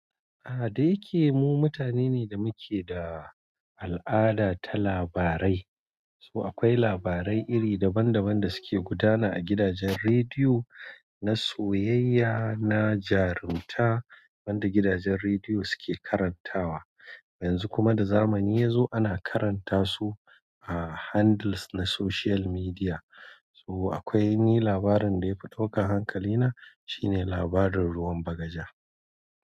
A, dai keme mu mutane ne da muke da al'ada ta labarai. So akwai labarai iri daban daban da suke gudana a gidajen rediyo, na soyayya, na jarunta, wanda gidajen rediyo suke karantawa. Yanzu kuma da zamani yazo ana karanta su a handles na social media. So akwai ni labarin da ya fi ɗauka hankalina, shine labarin ruwan bagaja.